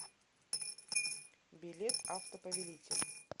билет автоповелитель